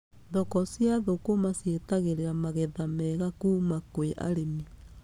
Thoko cia thũkũma cietagĩrĩra magetha mega kuuma kwĩ arĩmi.